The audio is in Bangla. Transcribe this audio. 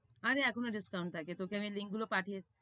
আরেহ এখনো discount থাকে, তোকে আমি link গুলো পাঠিয়ে~